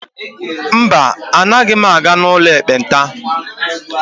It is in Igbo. mba, Anaghị m aga n'ụlọ ekpenta